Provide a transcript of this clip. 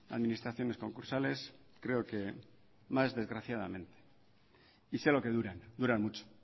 administraciones concursales creo que más desgraciadamente y sé lo que duran duran mucho